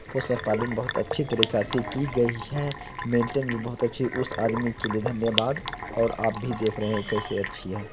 बहुत अच्छी तरह से की गई है | मेंटेन भी बहुत अच्छी उस आदमी के लिए धन्यवाद और आप भी देख रहे कैसे अच्छी है।